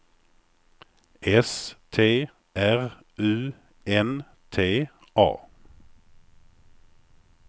S T R U N T A